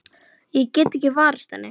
Ég get ekki varist henni.